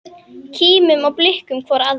Kímum og blikkum hvor aðra.